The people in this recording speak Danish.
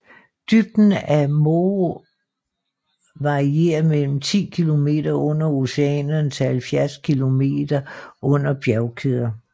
Dybden af Moho varierer mellem 10 km under oceanerne til 70 km under bjergkæder